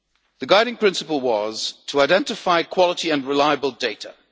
The guiding principle was to identify quality and reliable data.